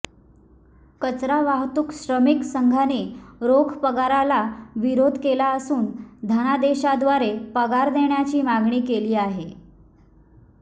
कचरा वाहतूक श्रमिक संघाने रोख पगाराला विरोध केला असून धनादेशाद्वारे पगार देण्याची मागणी केली आहे